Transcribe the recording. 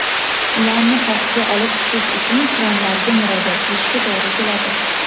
ularni pastga olib tushish uchun kranlarga murojaat qilishga to‘g‘ri keladi.